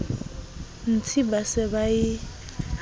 ntsi ba se ba e